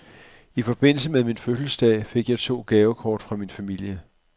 I forbindelse med min fødselsdag fik jeg to gavekort fra min familie.